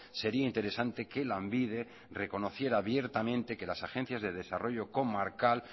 sería interesante que lanbide reconociera abiertamente que las agencias de desarrollo comarcal